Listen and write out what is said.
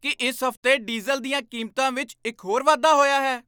ਕੀ ਇਸ ਹਫ਼ਤੇ ਡੀਜ਼ਲ ਦੀਆਂ ਕੀਮਤਾਂ ਵਿੱਚ ਇੱਕ ਹੋਰ ਵਾਧਾ ਹੋਇਆ ਹੈ?